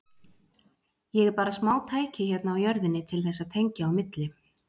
Ég er bara smátæki hérna á jörðinni til þess að tengja á milli.